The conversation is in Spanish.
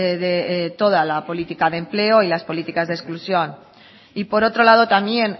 de toda la política de empleo y las políticas de exclusión y por otro lado también